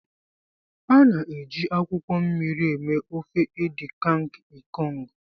A na-eji akwụkwọ mmiri eme ofe Edikang ikong.